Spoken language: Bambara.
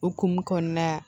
Okumu kɔnɔna la